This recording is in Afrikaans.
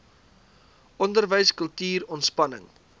onderwys kultuur ontspanning